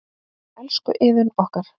Elsku Iðunn okkar.